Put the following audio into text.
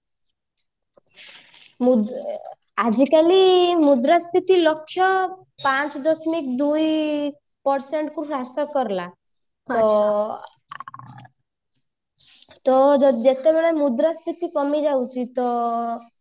ଆଜିକାଲି ମୁଦ୍ରାସ୍ପୀତି ଲକ୍ଷ୍ୟ ପାଞ୍ଚ ଦଶମିକି ଦୁଇ percent କୁ ହ୍ରାସ କରିଲା ତ ଯେତେବେଳେ ମୁଦ୍ରାସ୍ପୀତି କମି ଯାଉଛି ତ